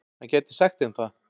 Hann gæti sagt þeim það.